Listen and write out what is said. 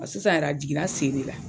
A sisan yɛrɛ a jiginna sen de la